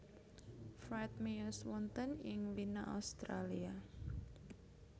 Fried miyos wonten ing Wina Austria